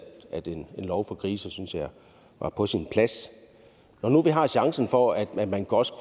at en lov for grise var på sin plads når nu vi har chancen for at man også